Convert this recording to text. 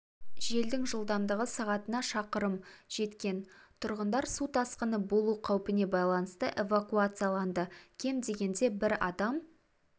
желдің жылдамдығы сағатына шақырым жеткен тұрғындар су тасқыны болу қаупіне байланысты эвакуацияланды кем дегенде бір адам